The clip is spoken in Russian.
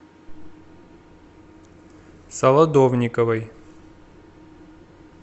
солодовниковой